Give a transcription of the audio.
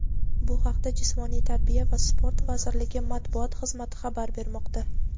Bu haqda Jismoniy tarbiya va sport vazirligi Matbuot xizmati xabar bermoqda.